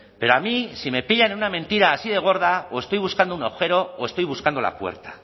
pero a mí si me pillan en una mentira así de gorda o estoy buscando un agujero o estoy buscando la puerta a